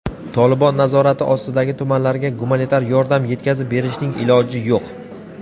"Tolibon" nazorati ostidagi tumanlarga gumanitar yordam yetkazib berishning iloji yo‘q.